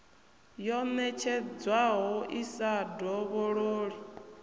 yo ṋetshedzwaho i sa dovhololi